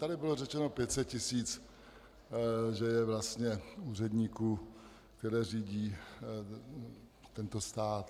Tady bylo řečeno 500 tisíc že je vlastně úředníků, kteří řídí tento stát.